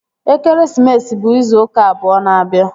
Ekeresimesi bụ izu ụka abụọ na-abịa